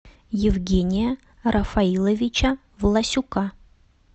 евгения рафаиловича власюка